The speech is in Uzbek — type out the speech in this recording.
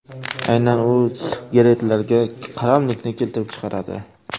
Aynan u sigaretlarga qaramlilikni keltirib chiqaradi.